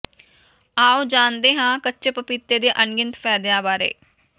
ਆਓ ਜਾਣਦੇ ਹਾਂ ਕੱਚੇ ਪਪੀਤੇ ਦੇ ਅਨਗਿਣਤ ਫਾਇਦਿਆਂ ਬਾਰੇ